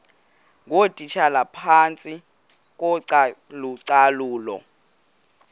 ngootitshala phantsi kocalucalulo